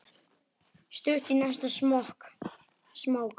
Stutt í næsta smók.